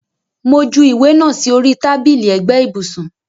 Mo ju ìwé náà sì orí tábìlì ẹ̀gbẹ́ ibùsùn